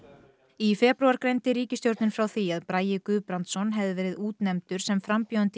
í febrúar greindi ríkisstjórnin frá því að Bragi Guðbrandsson hefði verið útnefndur sem frambjóðandi